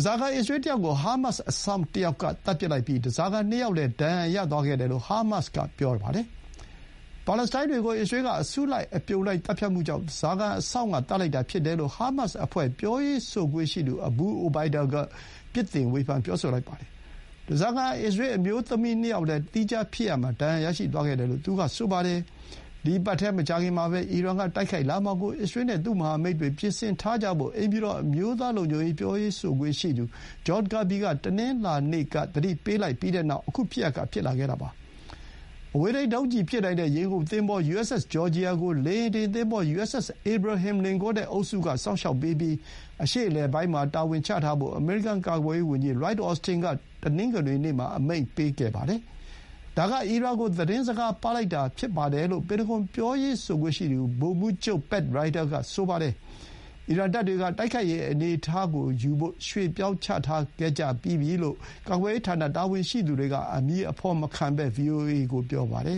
စာခံအစ္စရေးတယောက်ကို ဟာမတ်စ်အစောင့်တယောက်ကသတ်ပစ်လိုက်ပြီး ဓားစာခံနှစ်ယောက်လည်း ဒဏ်ရာရသွားခဲ့တယ်လို့ ဟာမတ်စ်က ပြောပါတယ်။ ပါလက်စတိုင်းတွေကို အစ္စရေးက အစုလိုက်အပြုံလိုက် သတ်ဖြတ်မှုကြောင့် ဓားစာခံကို အစောင့်ကသတ်လိုက်တာဖြစ်တယ်လို့ ဟာမတ်စ်အဖွဲ့ ပြောရေးဆိုခွင့်ရှိသူ Abu Obaida က ပြစ်တင်ပြောဆိုလိုက်ပါတယ်။ ဓားစာခံအစ္စရေးအမျိုးသမီး ၂ ယောက်လည်း သီးခြားဖြစ်ရပ်မှာ ဒဏ်ရာရရှိသွားခဲ့တယ်လို့ သူက ဆိုပါတယ်။ ဒီအပတ်ထဲ မကြာခင်မှာပဲ အီရန်ကတိုက်ခိုက်လာမှာကို အစ္စရေးနဲ့ သူ့မဟာမိတ်တွေပြင်ဆင်ထားကြဖို့ အိမ်ဖြူတော် အမျိုးသားလုံခြုံရေး ပြောရေးဆိုခွင့်ရှိသူ John Kirby က တနင်္လာနေ့က သတိပေးလိုက် ပြီးတဲ့နောက် ခုဖြစ်ရပ်က ဖြစ်လာခဲ့တာပါ။ အဝေးထိန်းဒုံးကျည်ပစ်နိုင်တဲ့ ရေငုပ်သင်္ဘော USS Georgia ကို လေယာဥ်တင်သင်္ဘော USS Abraham Lincoln နဲ့အုပ်စုကစောင့်ရှောက်ပေးပြီး အရှေ့အလယ်ပိုင်းမှာချထားဖို့ အမေရိကန်ကာကွယ်ရေးဝန်ကြီး Lloyd Austin က တနင်္ဂနွေနေ့မှာ အမိန့်ပေးလိုက်ပါတယ်။ ဒါက အီရန်ကို သတင်းစကား ပါးလိုက်တာ ဖြစ်တယ်လို့ ပင်တဂွန် ပြောရေးဆိုခွင့်ရှိသူ ဗိုလ်မှူးချုပ် Pat Ryder က ပြောပါတယ်။ အီရန်စစ်တပ်နဲ့ လက်နက်တွေကို တိုက်ခိုက်ရေး အနေအထားယူဖို့ ရွှေ့ပြောင်းချထားခဲ့ကြတယ်လို့ ကာကွယ်ရေးတာဝန်ရှိသူတွေက အမည်အဖော်မခံဘဲ ဗွီအိုအေကို ပြောပါတယ